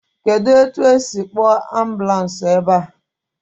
Kedụ etu esi akpọọ ambulans ebe?